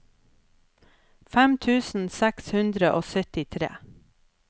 fem tusen seks hundre og syttitre